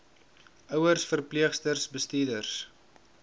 ouers verpleegsters bestuurders